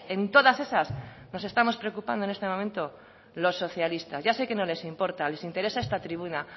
en todas esas nos estamos preocupando en este momento los socialistas ya sé que no les importa les interesa esta tribuna